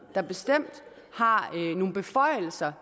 der bestemt har nogle beføjelser